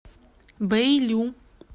бэйлю